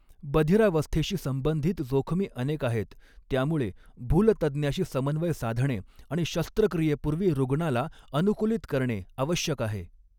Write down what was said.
बधिरावस्थेशी संबंधित जोखमी अनेक आहेत, त्यामुळे भूलतज्ज्ञाशी समन्वय साधणे आणि शस्त्रक्रियेपूर्वी रुग्णाला अनुकूलित करणे आवश्यक आहे.